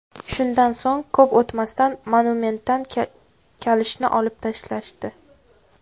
Shundan so‘ng ko‘p o‘tmasdan monumentdan kalishni olib tashlashdi .